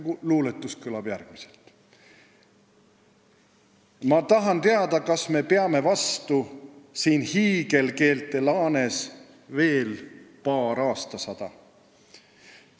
Luuletus kõlab järgmiselt: Ma tahan teada kas me peame vastu siin hiigelkeelte laanes veel paar aastasada?